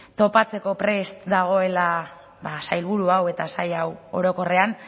topatzeko prest dagoela ba sailburu hau eta sail hau orokorrean